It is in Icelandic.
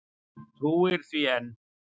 Trúir því enn.